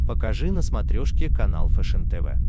покажи на смотрешке канал фэшен тв